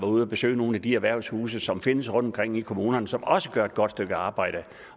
ude at besøge nogle af de erhvervshuse som findes rundtomkring i kommunerne som også gør et godt stykke arbejde